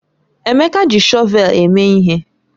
Emeka ji shọvel eme ihe.